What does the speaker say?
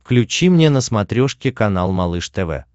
включи мне на смотрешке канал малыш тв